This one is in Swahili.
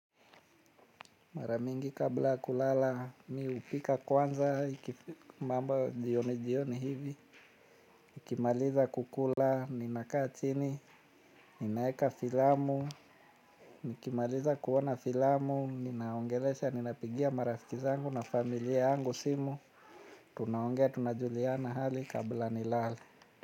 Maramingi kabla kulala mi hupika kwanza ikifika mambo jioni jioni hivi. Nikimaliza kukula, ninakaa chini, ninaeka filamu. Nikimaliza kuona filamu, ninaongelesha, ninapigia marafiki zangu na familia yangu simu. Tunaongea, tunajuliana hali kabla nilale.